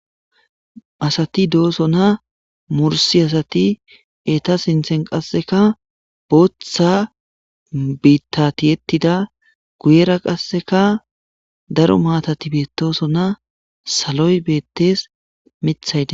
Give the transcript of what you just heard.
Asati dooso na mursi asati eta sinthen qasseka booththa biittati yettida guyera qasseka daro maatati beetoso na saloy beettees mithayde